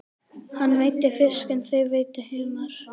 Hann veiddi fisk en þau veiddu humar.